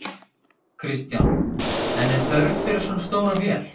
Kristján: En er þörf fyrir svona stóra vél?